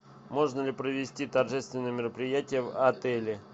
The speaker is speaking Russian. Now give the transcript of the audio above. можно ли провести торжественное мероприятие в отеле